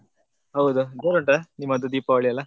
ಹೌದು ಜೋರ್ ಉಂಟಾ ನಿಮ್ಮದು ದೀಪಾವಳಿ ಎಲ್ಲ?